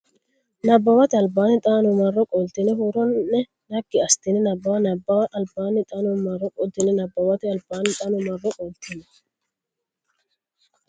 Nabbawate Albaanni xaano marro qoltine huuro ne naggi assitine nabbabbe Nabbawate Albaanni xaano marro qoltine Nabbawate Albaanni xaano marro qoltine.